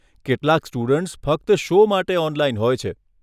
કેટલાક સ્ટુડન્ટ્સ ફક્ત શો માટે ઓનલાઇન હોય છે.